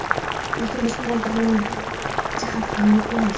Lekin bizni quvontiradigan jihatlar ham yo‘q emas.